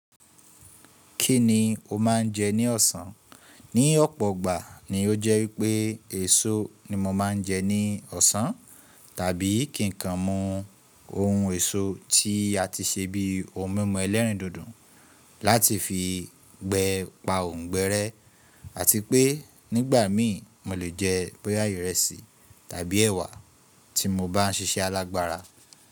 Kí ni o máa ń jẹ ní ọ̀sán? Ní ọ̀pọ̀ igbà ni ó jẹ́ wípé èso ni mo máa ń jẹ ní ọ̀sán tàbí kì ń kan mu ohun èso tí a ti ṣe bíi ohun mímu ẹlẹ́rìndòdò láti fi gbe pa òǹgbere àti pé nígbà mii mo lè jẹ bo yà ìrẹsì tàbí ẹwà tí mo bá ń ṣiṣẹ́ alágbára.